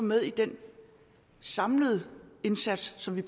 med i den samlede indsats som vi